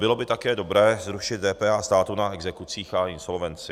Bylo by také dobré zrušit DPH státu na exekucích a insolvenci.